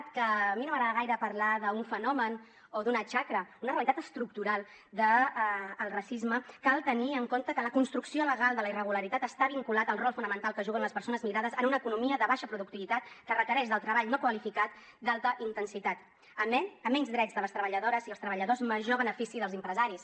a mi no m’agrada gaire parlar d’ un fenomen o d’ una xacra una realitat estructural de racisme cal tenir en compte que la construcció legal de la irregularitat està vinculada al rol fonamental que juguen les persones migrades en una economia de baixa productivitat que requereix el treball no qualificat d’alta intensitat a menys drets de les treballadores i els treballadors major benefici dels empresaris